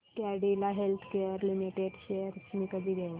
Cadila healthcare limited shares मी कधी घेऊ